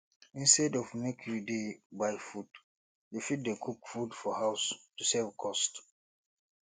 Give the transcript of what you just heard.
instead of make you dey buy food you fit dey cook food for house to save cost